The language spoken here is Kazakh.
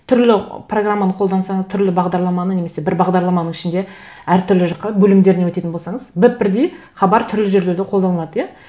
түрлі программаны қолдансаңыз түрлі бағдарламаны немесе бір бардарламаның ішінде әртүрлі жаққа бөлімдеріне өтетін болсаңыз біп бірдей хабар түрлі жерлерде қолданылады иә